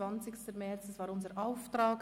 Am 20. März erging unser Auftrag.